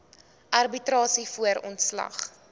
arbitrasie voor ontslag